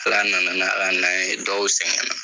Ala nana n'a ka na ye, dɔw sɛgɛnna.